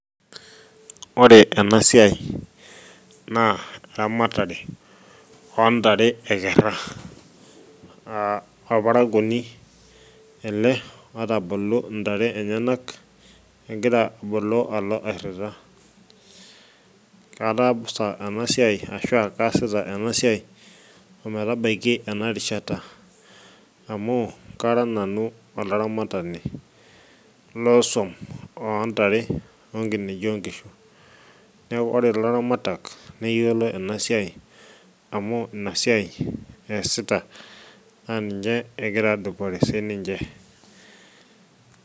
Ore ena siai naa eramatare oontare ekera. Olparakuoni ele otaboluo intare enyanak, egira aboloo alo airira. Atabsta tena siai ashu ataasa ometabaiki ena rishata, amu kara nanu olaramatani loo swuom ontare onkineji inkishu. Neeku ore ilaramatak neyiolo ena siai amu ina siai eesita naa ninye egira aadupore sininje.